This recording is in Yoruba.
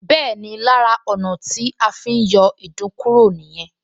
Bẹ́ẹ̀ni, lára ọ̀nà tí a fi ń yọ ìdun kúrò nìyẹn